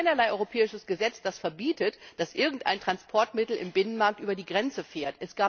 Es gibt keinerlei europäisches Gesetz, das verbietet, dass irgendein Transportmittel im Binnenmarkt über die Grenze fährt.